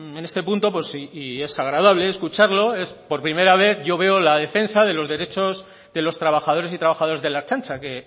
en este punto pues y es agradable escucharlo es por primera vez yo veo la defensa de los derechos de los trabajadores y trabajadoras de la ertzaintza que